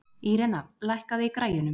Irena, lækkaðu í græjunum.